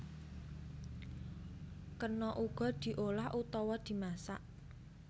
Kena uga diolah utawa dimasak